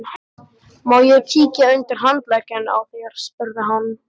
Má ég kíkja undir handlegginn á þér? spurði hann.